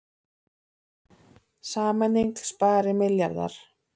Sameining spari milljarða